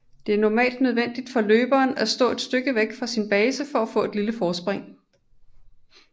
Det er normalt nødvendigt for løberen at stå et stykke væk fra sin base for at få et lille forspring